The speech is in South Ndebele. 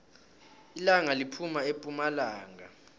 ilanga liphuma epumalanga